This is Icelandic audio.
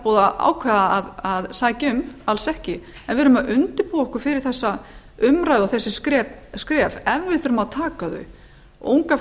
búið að ákveða að sækja um alls ekki en við erum að undirbúa okkur fyrir þessa umræðu og þessi skref ef við þurfum að taka þau unga